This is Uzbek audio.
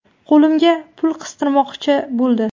Qo‘limga pul qistirmoqchi bo‘ldi.